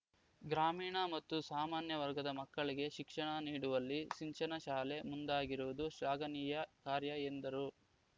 ಗ್ರಾಮೀಣ ಮತ್ತು ಸಾಮಾನ್ಯ ವರ್ಗದ ಮಕ್ಕಳಿಗೆ ಶಿಕ್ಷಣ ನೀಡುವಲ್ಲಿ ನಿಂಚನ ಶಾಲೆ ಮುಂದಾಗಿರುವುದು ಶ್ಲಾಘನೀಯ ಕಾರ್ಯ ಎಂದರು